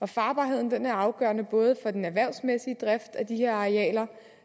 farbarheden er afgørende både for den erhvervsmæssige drift af de her arealer